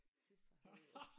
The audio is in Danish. Fy for helvede